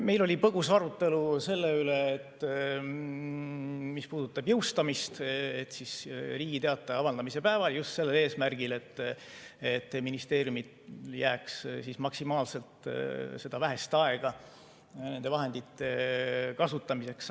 Meil oli põgus arutelu selle üle, mis puudutab jõustamist, et Riigi Teatajas avaldamise päeval, just sellel eesmärgil, et ministeeriumidel jääks maksimaalselt seda vähest aega nende vahendite kasutamiseks.